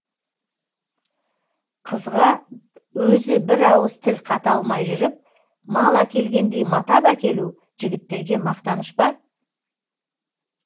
қызға өзі бір ауыз тіл қата алмай жүріп мал әкелгендей матап әкелу жігіттерге мақтаныш па